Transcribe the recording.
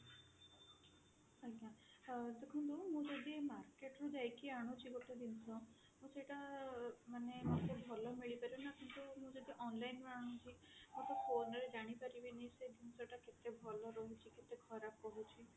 ଆଜ୍ଞା ଆଉ ଦେଖନ୍ତୁ ମୁଁ ଯଦି market ଯାଇକି ଆଣୁଛି ଗୋଟେ ଜିନିଷ ମୁଁ ସେଟା ମାନେ ମତେ ଭଲ ମିଳି ପାରେନା କିନ୍ତୁ ମୁଁ ଯଦି online ଆଣୁଛି ମୁଁ ତ phone ରେ ଜାଣିପାରିବିନି ସେ ଜିନିଷ ଟା କେତେ ଭଲ ରହୁଛି କେତେ ଖରାପ ରହୁଛି